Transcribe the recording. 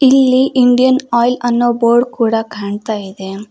ಇಲ್ಲಿ Indian Oil ಅನ್ನೋ board ಕೂಡ ಕಾಣ್ತಾ ಇದೆ.